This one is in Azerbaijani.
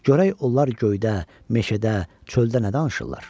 Görək onlar göydə, meşədə, çöldə nə danışırlar.